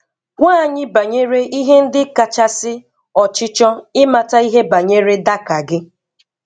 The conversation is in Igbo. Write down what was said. Gwa anyị banyere ihe ndị kachasị ọchịchọ ịmata ihe banyere Dakar gị.